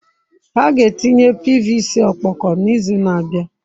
Ha ga-etinye pvc ọkpọkọ n'izu na-abịa.